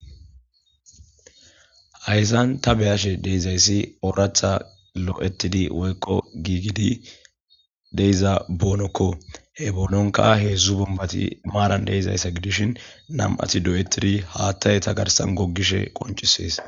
Hayssan ta be'isha dizaysi orotha lo'etidi woykko gigidi de'iza bonokko he bononkko hezdzdu bombbati maran de'izayssa gidishin nam'atikka doyetidi haaththey ete garssan gogishe konc'ises.